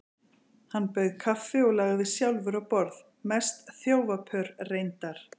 Hann bauð kaffi og lagði sjálfur á borð, mest þjófapör reyndar.